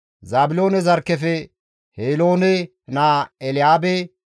Zaabiloone zarkkefe Heloone naa Elyaabe,